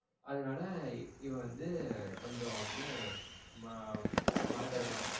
அதனால இவ வந்து கொஞ்சம் வந்து மா பணம் தர மாட்டா.